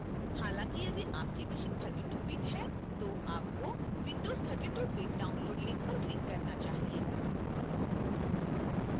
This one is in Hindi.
हालांकि यदि आपकी machine 32bit है तो आपको windows 32bit download link पर click करना चाहिए